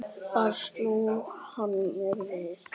Þar sló hann mér við.